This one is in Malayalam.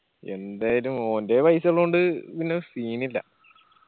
എന്തായാലും ഓന്റെ paisa ഇള്ളോണ്ട് പിന്നെ scene ഇല്ല